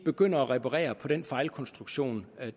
begynder at reparere på den fejlkonstruktion